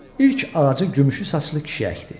İlk ağacı gümüşü saçlı kişi əkdi.